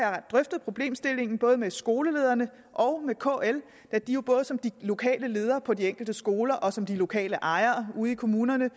har drøftet problemstillingen både med skolelederne og med kl da de jo både som de lokale ledere på de enkelte skoler og som de lokale ejere ude i kommunerne